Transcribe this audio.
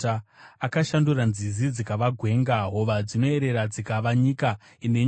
Akashandura nzizi dzikava gwenga, hova dzinoerera dzikava nyika ine nyota,